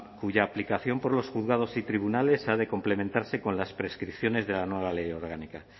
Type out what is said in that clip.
cuya aplicación por los juzgados y tribunales ha de complementarse con las prescripciones de la nueva ley orgánica